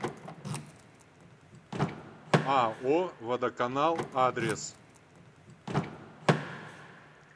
ао водоканал адрес